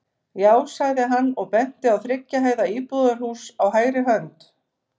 Já, sagði hann og benti á þriggja hæða íbúðarhús á hægri hönd.